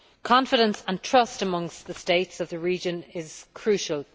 Confidence and trust amongst the states of the region are crucial.